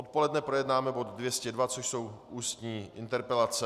Odpoledne projednáme bod 202, což jsou Ústní interpelace.